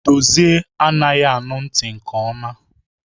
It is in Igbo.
Dozie anaghị anụ ntị nke ọma